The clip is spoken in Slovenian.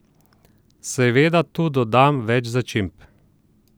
Seveda tu dodam več začimb.